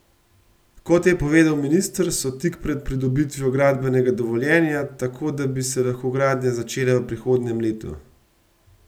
Kot je povedal minister, so tik pred pridobitvijo gradbenega dovoljenja, tako da bi se lahko gradnja začela v prihodnjem letu.